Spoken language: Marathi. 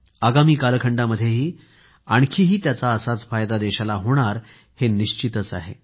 आगामी कालखंडामध्ये आणखीही त्याचा असाच फायदा देशाला होणार हे निश्चित आहे